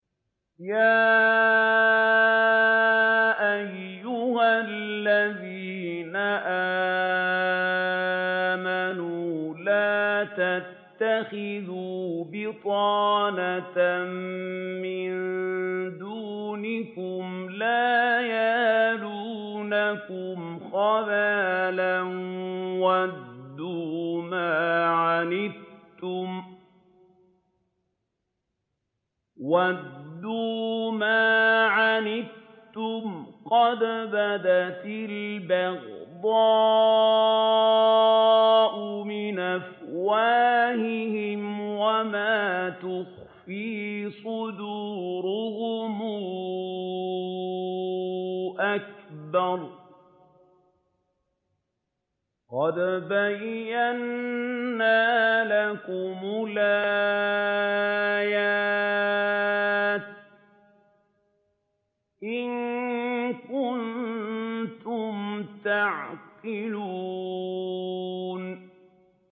يَا أَيُّهَا الَّذِينَ آمَنُوا لَا تَتَّخِذُوا بِطَانَةً مِّن دُونِكُمْ لَا يَأْلُونَكُمْ خَبَالًا وَدُّوا مَا عَنِتُّمْ قَدْ بَدَتِ الْبَغْضَاءُ مِنْ أَفْوَاهِهِمْ وَمَا تُخْفِي صُدُورُهُمْ أَكْبَرُ ۚ قَدْ بَيَّنَّا لَكُمُ الْآيَاتِ ۖ إِن كُنتُمْ تَعْقِلُونَ